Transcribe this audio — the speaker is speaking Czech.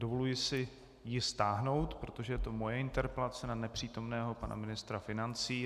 Dovoluji si ji stáhnout, protože to je moje interpelace na nepřítomného pana ministra financí.